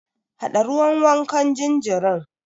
Haɗa ruwan wankan jinjirin.